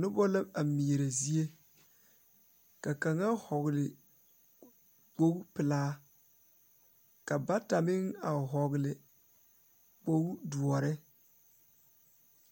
Nobɔ la a meɛrɛ zie ka kaŋa hɔgle kpogle pelaa ka bata meŋ a hɔgle kpogle doɔre